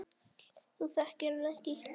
Þú þekkir hann ekki.